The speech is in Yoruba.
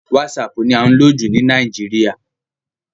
WhatsApp ni à ń lò jù ní Nàìjíríà.